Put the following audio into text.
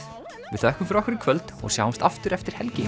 við þökkum fyrir okkur í kvöld og sjáumst aftur eftir helgi